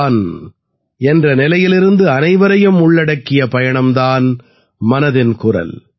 தான் என்ற நிலையிலிருந்து அனைவரையும் உள்ளடக்கிய பயணம் தான் மனதின் குரல்